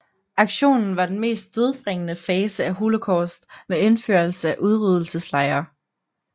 Aktionen var den mest dødbringende fase af Holocaust med indførelse af udryddelseslejre